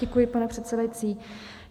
Děkuji, pane předsedající.